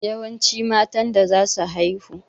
Yawance matan da zasu haihu.